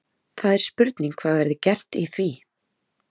Það er spurning hvað verði gert í því?